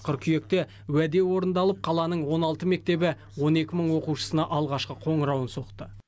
қыркүйекте уәде орындалып қаланың он алты мектебі он екі мың оқушысына алғашқы қоңырауын соқты